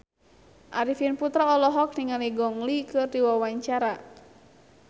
Arifin Putra olohok ningali Gong Li keur diwawancara